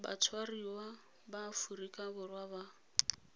batshwariwa ba aforika borwa ba